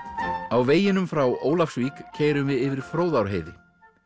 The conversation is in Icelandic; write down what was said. á veginum frá Ólafsvík keyrum við yfir Fróðárheiði